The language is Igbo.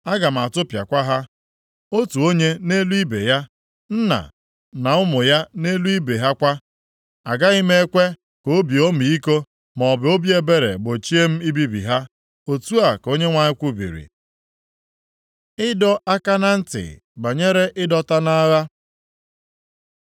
Aga m atụpịakwa ha, otu onye nʼelu ibe ya, nna na ụmụ ya nʼelu ibe ha kwa. Agaghị m ekwe ka obi ọmịiko, maọbụ obi ebere gbochie m ibibi ha.’ ” Otu a ka Onyenwe anyị kwubiri. Ịdọ aka na ntị banyere ịdọta nʼagha